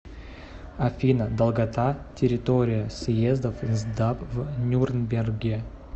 афина долгота территория съездов нсдап в нюрнберге